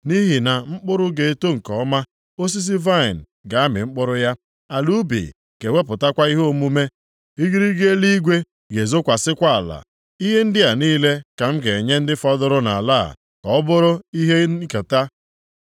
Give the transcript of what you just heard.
“Nʼihi na mkpụrụ ga-eto nke ọma, osisi vaịnị ga-amị mkpụrụ ya, ala ubi ga-ewepụtakwa ihe omume, igirigi eluigwe ga-ezokwasịkwa ala. Ihe ndị a niile ka m ga-enye ndị fọdụrụ nʼala a ka ọ bụụrụ ha ihe nketa.